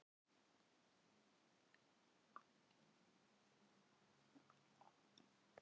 Enn einu sinni lokaði hún augum sínum þrungnum minningum.